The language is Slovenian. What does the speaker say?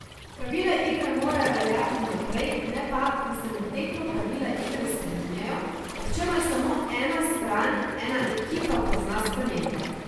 Pravila igre morajo veljati vnaprej, ne pa, da se med tekmo pravila igre spreminjajo, ob čemer samo ena stran, ena ekipa pozna spremembe.